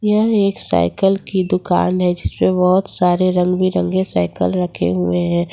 यह एक साइकिल की दुकान है जिस पर बहुत सारे रंग बिरंगे साइकिल रखे हुए हैं।